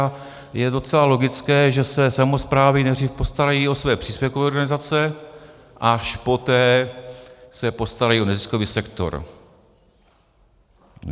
A je docela logické, že se samosprávy nejdřív postarají o své příspěvkové organizace, až poté se postarají o neziskový sektor.